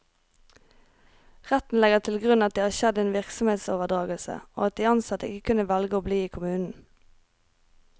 Retten legger til grunn at det har skjedd en virksomhetsoverdragelse, og at de ansatte ikke kunne velge å bli i kommunen.